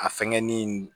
A fɛngɛnin